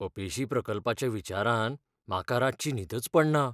अपेशी प्रकल्पाच्या विचारान म्हाका रातची न्हीदच पडना.